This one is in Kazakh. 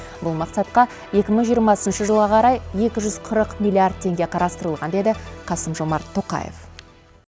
бұл мақсатқа екі мың жиырмасыншы жылға қарай екі жүз қырық миллиард теңге қарастырылған деді қасым жомарт тоқаев